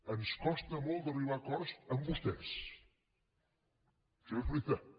ens costa molt d’arribar a acords amb vostès això és veritat